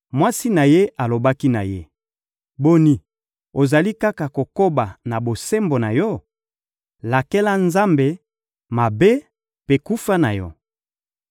Mwasi na ye alobaki na ye: — Boni, ozali kaka kokoba na bosembo na yo? Lakela Nzambe mabe mpe kufa na yo!